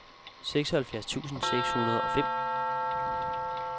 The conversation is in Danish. seksoghalvfjerds tusind seks hundrede og fem